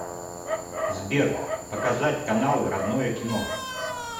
сбер показать каналы родное кино